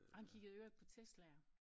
Og han kiggede i øvrigt på Teslaer